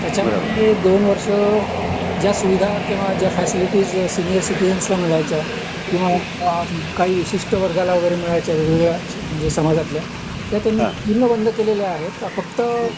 त्याचमध्ये दोन वर्ष जय सुविधा किंवा जय फॅसिलिटीज सीनियर सिटिजन ला मिळायच्या किंवा काही विशिषट वर्गाला मिळायच्या वेग वेगळ्या समाजातल्या त्या त्यांनी पूर्ण बंद केलेल्या आहेत फक्त